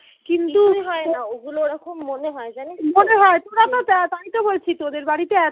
তাই তো বলছি তোদের বাড়িতে